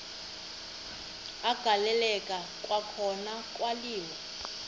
agaleleka kwakhona kwaliwa